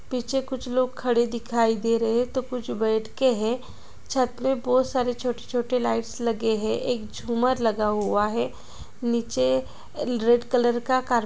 पीछे कुछ लोग खड़े दिखाई दे रहे हे तो कुछ बैठ के हे छत पे बहुत सारे छोटे - छोटे लाइट्स लगेहे एक झुम्मर लगा हुआ हे नीचे अ रेड कलर का कार--